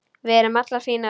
Við erum allar fínar